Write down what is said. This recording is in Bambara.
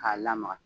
K'a lamaga